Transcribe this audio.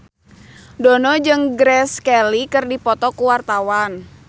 Dono jeung Grace Kelly keur dipoto ku wartawan